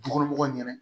Dukɔnɔmɔgɔw ɲɛna